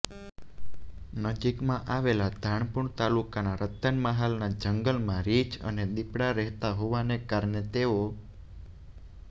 નજીકમાં આવેલા ધાનપુર તાલુકાના રતનમહાલના જંગલમાં રીંછ અને દીપડા રહેતાં હોવાને કારણે તેઓ